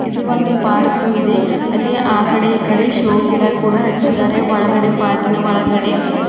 ಇದು ಒಂದು ಪಾರ್ಕು ಇದೆ ಅಲ್ಲಿ ಆ ಕಡೆ ಈ ಕಡೆ ಶೋ ಗಿಡ ಕೂಡ ಹಚ್ಚಿದ್ದಾರೆ ಒಳಗಡೆ ಪಾರ್ಕಿ ನ ಒಳಗಡೆ.